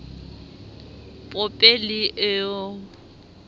pope leo